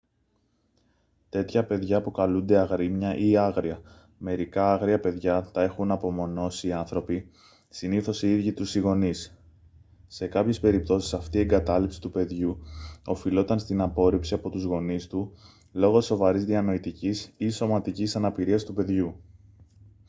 τέτοια παιδιά αποκαλούνται «αγρίμια» ή άγρια. μερικά άγρια παιδιά τα έχουν απομονώσει οι άνθρωποι συνήθως οι ίδιοι τους οι γονείς. σε κάποιες περιπτώσεις αυτή η εγκατάλειψη του παιδιού οφειλόταν στην απόρριψη από τους γονείς του λόγω σοβαρής διανοητικής ή σωματικής αναπηρίας του παιδιού